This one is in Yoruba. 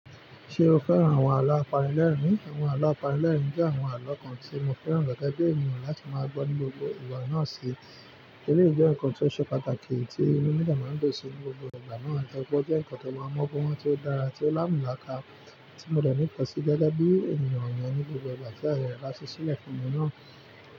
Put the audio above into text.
Ṣé o fẹ́ràn àwọn àlọ́ apanilẹ́rìn-ín? Àwọn àlọ́ apanilẹ́rìn-ín jẹ́ àwọn àlọ́ kan tí mo fẹ́ràn gẹ́gẹ́ bí ènìyàn láti máa gbọ́ ní gbogbo ìgbà náà ṣe. Eleyi jẹ́ nǹkan tí ó ṣe pàtàkì tí inu mi dẹ máa ń dun sí ni gbogbo ìgbà náà. Ẹ̀dàgbọ̀ jẹ́ nǹkan tí ó máa ń mọ́ ọkùnrin tí ó dára tí ó láǹmúláka tí mo dẹ̀ ní ìpàṣẹ gẹ́gẹ́ bí ènìyàn ọ̀nyẹn ní gbogbo ìgbà tí a lè rí i rásí sílẹ̀ fún ẹni náà.